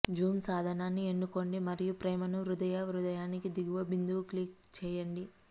Zoom సాధనాన్ని ఎన్నుకోండి మరియు ప్రేమను హృదయ హృదయానికి దిగువ బిందువు క్లిక్ చేయండి